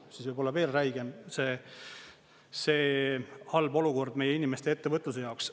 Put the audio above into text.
Siis võib olla veel räigem see halb olukord meie inimeste, ettevõtluse jaoks.